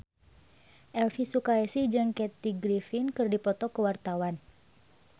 Elvi Sukaesih jeung Kathy Griffin keur dipoto ku wartawan